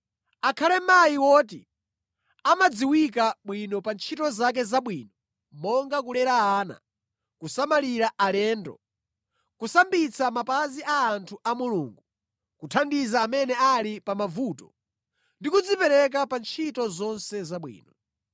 Akhale mayi woti amadziwika bwino pa ntchito zake zabwino monga kulera ana, kusamalira alendo, kusambitsa mapazi a anthu a Mulungu, kuthandiza amene ali pa mavuto ndi kudzipereka pa ntchito zonse zabwino.